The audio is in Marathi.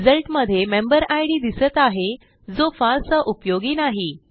रिझल्ट मध्ये मेंबेरिड दिसत आहे जो फारसा उपयोगी नाही